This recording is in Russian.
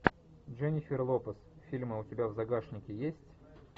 дженнифер лопес фильмы у тебя в загашнике есть